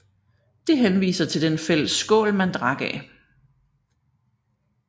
Det henviser til den fælles skål man drak af